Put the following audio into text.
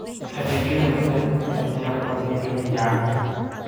Adeegyada la-talinta ayaa diyaar u ah beeralayda caanaha.